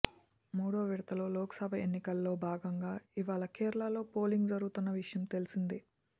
మూడో విడత లోక్ సభ ఎన్నికల్లో భాగంగా ఇవాళ కేరళలో పోలింగ్ జరుగుతున్న విషయం తెలిసిందే